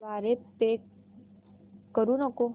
द्वारे पे करू नको